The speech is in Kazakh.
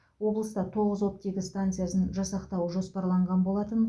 облыста тоғыз оттегі станциясын жасақтау жоспарланған болатын